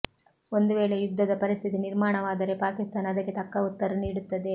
ಒಂದು ವೇಳೆ ಯುದ್ಧದ ಪರಿಸ್ಥಿತಿ ನಿರ್ಮಾಣವಾದರೆ ಪಾಕಿಸ್ತಾನ ಅದಕ್ಕೆ ತಕ್ಕ ಉತ್ತರ ನೀಡುತ್ತದೆ